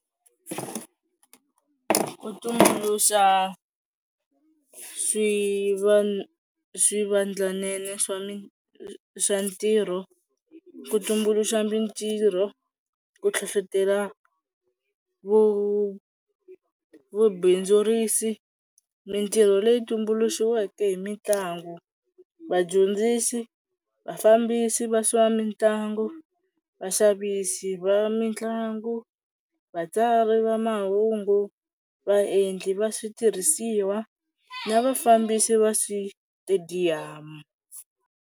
Ku tumbuluxa swivandlanene swa swa ntirho, ku tumbuluxa mintirho, ku hlohletela vubindzurisi, mintirho leyi tumbuluxiweke hi mitlangu, vadyondzisi, vafambisi va swa mitlangu, vaxavisi va mitlangu, vatsari va mahungu, vaendli va switirhisiwa na vafambisi va switediyamu.